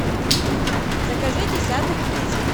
закажи десяток яиц